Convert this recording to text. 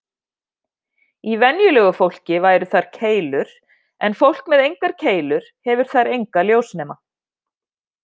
Í venjulegu fólki væru þar keilur, en fólk með engar keilur hefur þar enga ljósnema.